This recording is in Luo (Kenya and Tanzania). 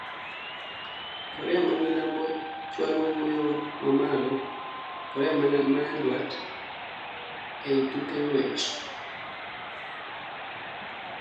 Korea ma Milambo chualo wuoyo ma malo Korea ma Nyandwat ei tuke ng'wech